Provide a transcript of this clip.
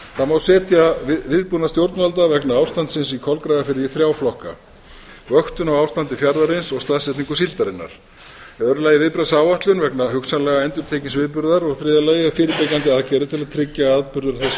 og fjármögnun það má setja viðbúnað stjórnvalda vegna ástandsins í kolgrafafirði í þrjá flokka fyrsti vöktun á ástandi fjarðarins og staðsetningu síldarinnar öðrum viðbragðsáætlun vegna hugsanlega endurtekins viðburðar þriðja fyrirbyggjandi aðgerðir til að tryggja að atburður af þessu tagi